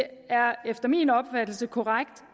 er efter min opfattelse korrekt